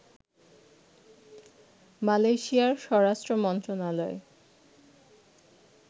মালয়েশিয়ার স্বরাষ্ট্রমন্ত্রণালয়